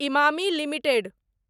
Emami limited